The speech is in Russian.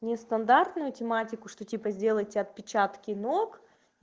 нестандартную тематику что типо сделать отпечатки ног